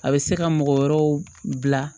A bɛ se ka mɔgɔ wɛrɛw bila